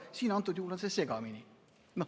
Siinsel juhul on see segane.